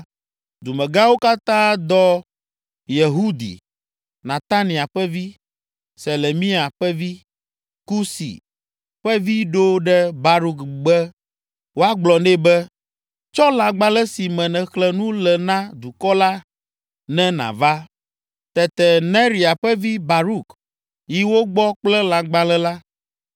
dumegãwo katã dɔ Yehudi, Netania ƒe vi, Selemia ƒe vi, Kusi ƒe vi ɖo ɖe Baruk be woagblɔ nɛ be, “Tsɔ lãgbalẽ si me nèxlẽ nu le na dukɔ la, ne nàva.” Tete Neria ƒe vi, Baruk, yi wo gbɔ kple lãgbalẽ la.